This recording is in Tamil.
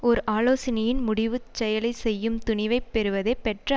ஓர் ஆலோசனையின் முடிவு செயலை செய்யும் துணிவைப் பெறுவதே பெற்ற